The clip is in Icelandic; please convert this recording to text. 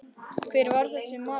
Hver var þessi maður?